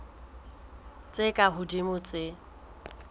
tse ka hodimo ho tse